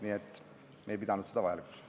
Nii et me ei pidanud seda analüüsi vajalikuks.